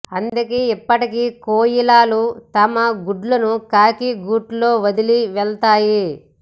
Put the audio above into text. అందుకే ఇప్పటికీ కోయిలలు తమ గుడ్లను కాకి గూట్లో వదిలి వెళతాయి